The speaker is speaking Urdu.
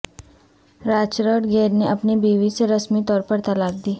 رچرڈ گیئر نے اپنی بیوی سے رسمی طور پر طلاق دی